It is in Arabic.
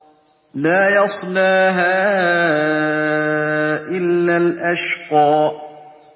لَا يَصْلَاهَا إِلَّا الْأَشْقَى